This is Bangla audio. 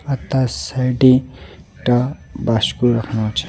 তার সাইডে একটা বাসকো রাখা আছে.